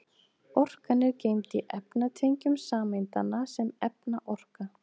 Orkan er geymd í efnatengjum sameindanna sem efnaorka.